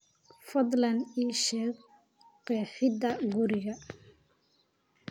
fadlan ii sheeg qeexida guriga